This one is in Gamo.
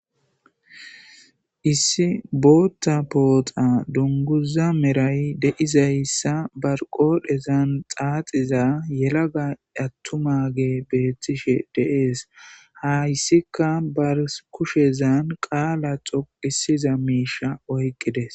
issi bootta pooxa dunguza meray deizayssa barqodhezan xaaxiza yelaga attumage beettishe deees hayssika bar kushezan qaala xoqisiza miisha oyqqides